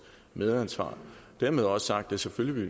medansvar dermed også sagt at selvfølgelig